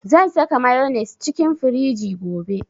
Zan saka mayonnaise cikin firiji gobe